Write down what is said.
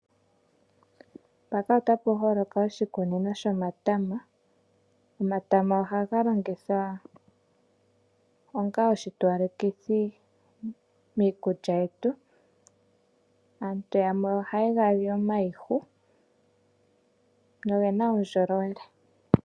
Mpaka otapu holoka oshikunino shomatama, omatama ohaga longithwa onga oshitowalekithi miikulya yetu, aantu yamwe ohaye gali omayihu no gena uundjolowele.